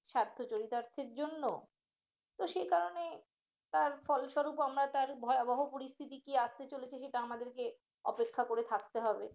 স্বার্থ চরিচার্জের জন্য তো সেই কারণে তার ফলস্বরূপ আমরা তার ভয়াবহ পরিস্থিতি কি আসতে চলেছে সেটা আমাদেরকে অপেক্ষা করে থাকতে হবে